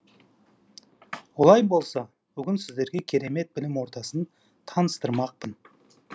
олай болса бүгін сіздерге керемет білім ордасын таныстырмақпын